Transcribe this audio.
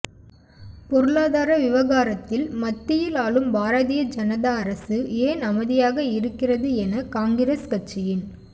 பொருளாதர விவகாரத்தில் மத்தியில் ஆளும் பாரதிய ஜனதா அரசு ஏன் அமைதியாக இருக்கிறது என காங்கிரஸ் கட்சியின்